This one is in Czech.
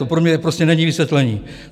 To pro mě prostě není vysvětlení.